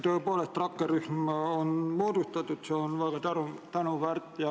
Tõepoolest, rakkerühm on moodustatud, see on väga tänuväärt.